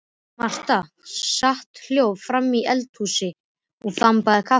Marta sat hljóð framí eldhúsi og þambaði kaffi.